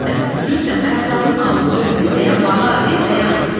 Rüstəm, Rüstəm ayaqlarının altında ölüm bir dayan bala, bir dayan.